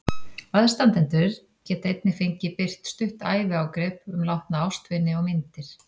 Aðstandendur get einnig fengið birt stutt æviágrip um látna ástvini og myndir.